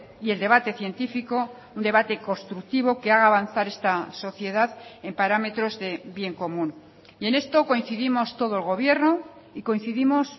y el debate científico un debate constructivo que haga avanzar esta sociedad en parámetros de bien común y en esto coincidimos todo el gobierno y coincidimos